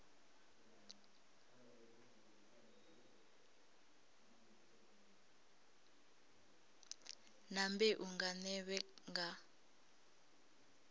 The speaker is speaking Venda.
na mbeu nga nḓevhe nga